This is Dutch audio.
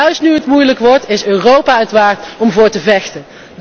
Juist nu het moeilijk wordt, is Europa het waard om voor te vechten.